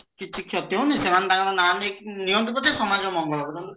କିଛି କ୍ଷତି ହଉନି ସେମାନେ ତାଙ୍କର ନାଁ ନେଇକି ନିଅନ୍ତୁ ପଛେ ସମାଜର ମଙ୍ଗଲ ହାଊ